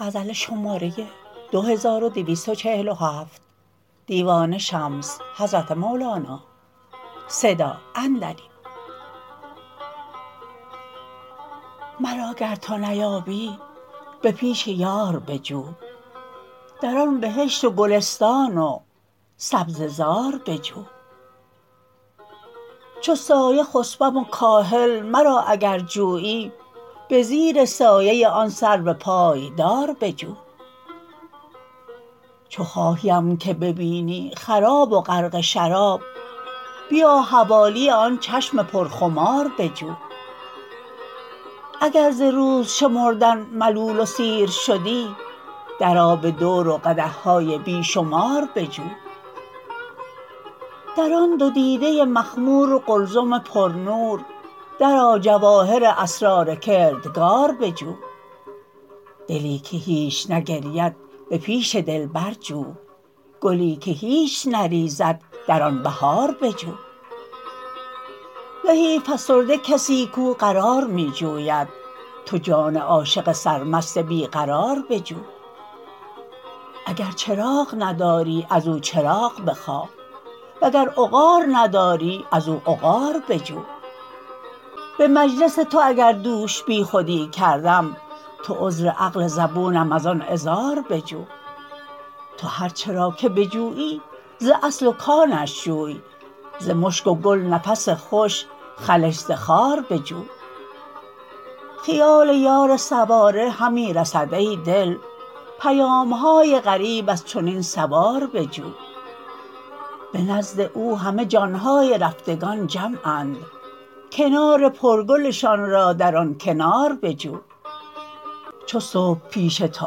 مرا اگر تو نیابی به پیش یار بجو در آن بهشت و گلستان و سبزه زار بجو چو سایه خسپم و کاهل مرا اگر جویی به زیر سایه آن سرو پایدار بجو چو خواهیم که ببینی خراب و غرق شراب بیا حوالی آن چشم پرخمار بجو اگر ز روز شمردن ملول و سیر شدی درآ به دور و قدح های بی شمار بجو در آن دو دیده مخمور و قلزم پرنور درآ جواهر اسرار کردگار بجو دلی که هیچ نگرید به پیش دلبر جو گلی که هیچ نریزد در آن بهار بجو زهی فسرده کسی کو قرار می جوید تو جان عاشق سرمست بی قرار بجو اگر چراغ نداری از او چراغ بخواه وگر عقار نداری از او عقار بجو به مجلس تو اگر دوش بیخودی کردم تو عذر عقل زبونم از آن عذار بجو تو هر چه را که بجویی ز اصل و کانش جوی ز مشک و گل نفس خوش خلش ز خار بجو خیال یار سواره همی رسد ای دل پیام های غریب از چنین سوار بجو به نزد او همه جان های رفتگان جمعند کنار پرگلشان را در آن کنار بجو چو صبح پیش تو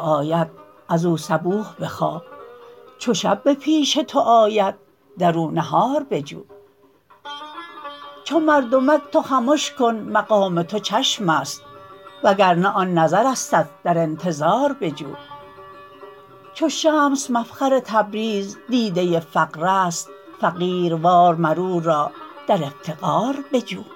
آید از او صبوح بخواه چو شب به پیش تو آید در او نهار بجو چو مردمک تو خمش کن مقام تو چشم است وگر نه آن نظرستت در انتظار بجو چو شمس مفخر تبریز دیده فقر است فقیروار مر او را در افتقار بجو